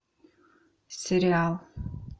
сериал